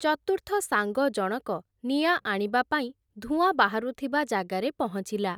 ଚତୁର୍ଥ ସାଙ୍ଗ ଜଣକ, ନିଆଁ ଆଣିବା ପାଇଁ, ଧୂଆଁ ବାହାରୁଥିବା ଜାଗାରେ ପହଞ୍ଚିଲା ।